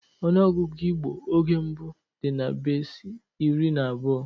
Ọnụọgụgụ Igbo oge mbụ dị na-besi iri na abuo